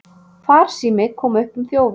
Farsími kom upp um þjófinn